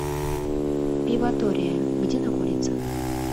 пиватория где находится